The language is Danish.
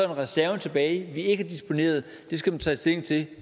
en reserve tilbage vi ikke har disponeret det skal man tage stilling til